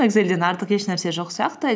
экзельден артық еш нәрсе жоқ сияқты